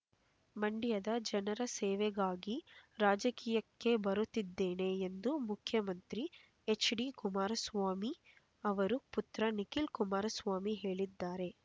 ಮಂಡ್ಯದ ಜನರ ಸೇವೆಗಾಗಿ ರಾಜಕೀಯಕ್ಕೆ ಬರುತ್ತಿದ್ದೇನೆ ಎಂದು ಮುಖ್ಯಮಂತ್ರಿ ಹೆಚ್ಡಿ ಕುಮಾರಸ್ವಾಮಿ ಅವರು ಪುತ್ರ ನಿಖಿಲ್ ಕುಮಾರಸ್ವಾಮಿ ಹೇಳಿದ್ದಾರೆ